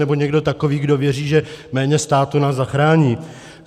nebo někdo takový, který věří, že méně státu nás zachrání.